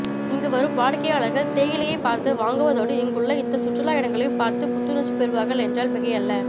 இங்கு வரும் வாடிக்கையாளர்கள்தேயிலையைப் பார்த்து வாங்குவதோடு இங்குள்ள இந்த சுற்றுலா இடங்களையும் பார்த்து புத்துணர்ச்சிபெறுவார்கள் என்றால் மிகையல்ல